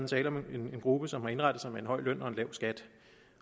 tale om en gruppe som har indrettet sig med en høj løn og en lav skat